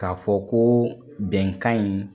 Ka fɔ ko bɛnkan in